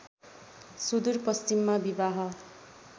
सुदूर पश्चिममा विवाह